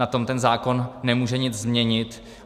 Na tom ten zákon nemůže nic změnit.